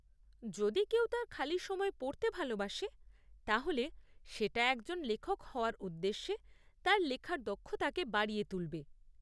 যদি কেউ তার খালি সময়ে পড়তে ভালোবাসে তাহলে সেটা একজন লেখক হওয়ার উদ্দেশ্যে তার লেখার দক্ষতাকে বাড়িয়ে তুলবে।